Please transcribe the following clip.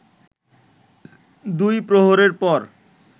দুই প্রহরের পর